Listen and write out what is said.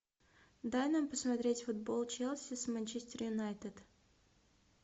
дай нам посмотреть футбол челси с манчестер юнайтед